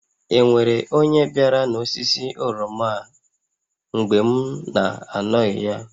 E nwere onye biara n'osisi oroma a mgbe m na-anọghị ya?